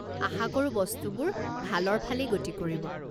আশাকৰো বস্তুবোৰ ভালৰ ফালেই গতি কৰিব।